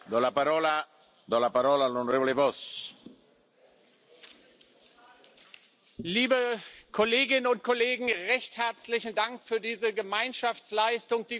Herr Präsident, liebe Kolleginnen und Kollegen! Recht herzlichen Dank für diese Gemeinschaftsleistung, die wir heute hinbekommen haben!